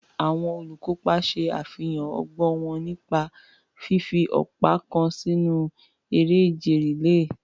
Àwọn olùkópa ṣe àfihàn ọgbọ́n wọn nípa fífi ọ̀pá kan sínú eré ìje rìléè.